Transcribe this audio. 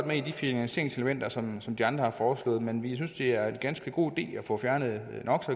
med i de finansieringselementer som som de andre har foreslået men vi synes det er en ganske god idé at få fjernet